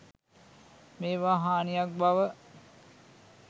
මේවා හානියක් බව